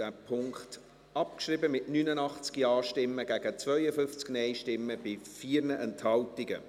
Sie haben diesen Punkt abgeschrieben, mit 89 Ja- gegen 52 Nein-Stimmen bei 4 Enthaltungen.